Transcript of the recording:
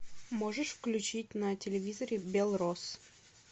можешь включить на телевизоре белрос